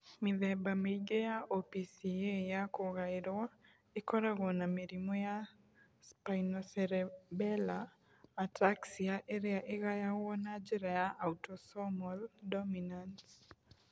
Mĩthemba mĩingĩ ya OPCA ya kũgaĩrũo ĩkoragwo na mĩrimũ ya spinocerebellar ataxia ĩrĩa ĩgayagũo na njĩra ya autosomal dominant.